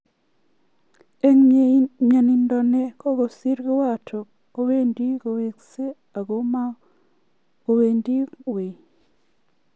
Eng mayanitok ne kakosir kiwato ko wendi koweksei ako mako wendi wui.